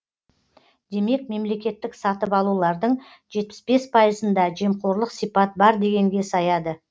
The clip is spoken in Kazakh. демек мемлекеттік сатып алулардың жетпіс бес пайызында жемқорлық сипат бар дегенге саяды